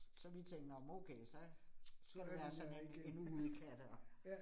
Så vi tænkte, nåh men okay så skal vi have os sådan en en udekat og